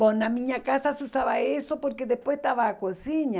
Bom, na minha casa se usava isso porque depois estava na cozinha.